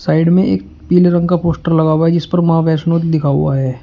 Side में एक पीले रंग का पोस्टर लगा हुआ जिस पर मां वैष्णो लिखा हुआ है।